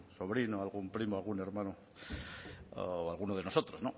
sobrino algún primo algún hermano o alguno de nosotros